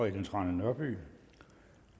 ellen trane nørby